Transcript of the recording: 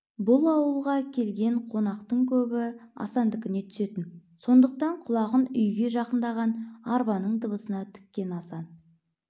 бұл ауылға келген қонақтың көбі асандікіне түсетін сондықтан құлағын үйге жақындаған арбаның дыбысына тіккен асан